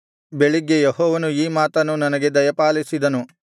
ಬೆಳಿಗ್ಗೆ ಯೆಹೋವನು ಈ ಮಾತನ್ನು ನನಗೆ ದಯಪಾಲಿಸಿದನು